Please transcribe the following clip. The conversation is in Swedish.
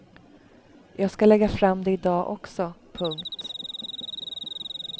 Jag ska lägga fram det i dag också. punkt